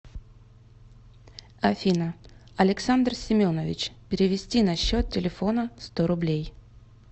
афина александр семенович перевести на счет телефона сто рублей